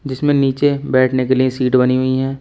इसमें नीचे बैठने के लिए सीट बनी हुई हैं।